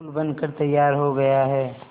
पुल बनकर तैयार हो गया है